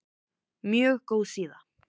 Mjög góð síða.